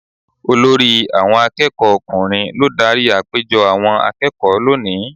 Olórí àwọn akẹ́kọ̀ọ́ ọkùnrin ló dárí àpéjọ àwọn akẹ́kọ̀ọ́ lónìí.